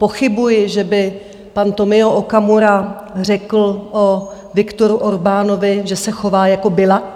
Pochybuji, že by pan Tomio Okamura řekl o Viktoru Orbánovi, že se chová jako Biľak.